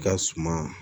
I ka suma